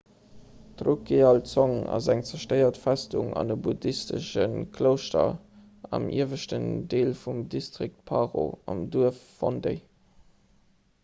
d'drukgyal dzong ass eng zerstéiert festung an e buddhistesche klouschter am ieweschten deel vum distrikt paro am duerf phondey